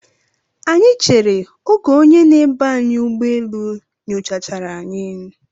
Anyị chere oge onye na-eba anyị ụgbọ elu nyocha chara anyị.